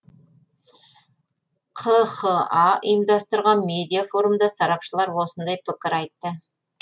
қха ұйымдастырған медиа форумда сарапшылар осындай пікір айтты